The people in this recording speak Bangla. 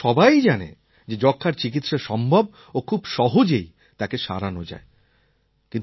কারণ এখন সবাই জানে যে যক্ষ্মার চিকিৎসা সম্ভব ও খুব সহজেই তাকে সারানো যায়